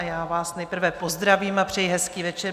A já vás nejprve pozdravím a přeji hezký večer.